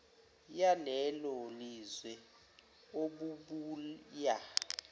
yalelo lizwe obubuya